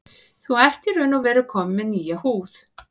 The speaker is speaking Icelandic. Þú ert í raun og veru kominn með nýja húð.